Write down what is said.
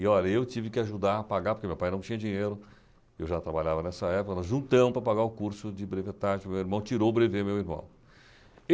E, olha, eu tive que ajudar a pagar, porque meu pai não tinha dinheiro, eu já trabalhava nessa época, nós juntamos para pagar o curso de brevetagem, meu irmão tirou o brevê, meu irmão.